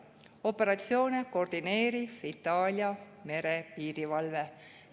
Operatsioone koordineeris Itaalia merepiirivalve.